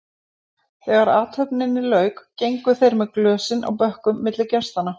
Þegar athöfninni lauk gengu þeir með glösin á bökkum milli gestanna.